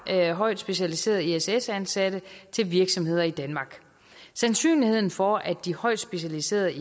af højtspecialiserede ess ess ansatte til virksomheder i danmark sandsynligheden for at de højtspecialiserede